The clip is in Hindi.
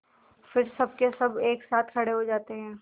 फिर सबकेसब एक साथ खड़े हो जाते हैं